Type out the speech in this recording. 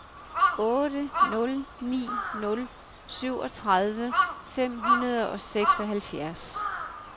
otte nul ni nul syvogtredive fem hundrede og seksoghalvfjerds